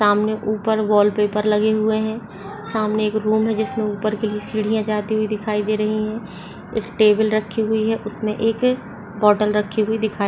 सामने ऊपर वॉलपेपर लगे हुए हैं सामने एक रूम है जिसमे ऊपर के लिए सीढ़ियाँ जाती हुई दिखाई दे रही हैं। एक टेबल रखी हुई है उसमे एक बोटल रखी हुई दिखाई --